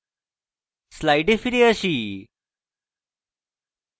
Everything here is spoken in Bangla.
slides ফিরে আসি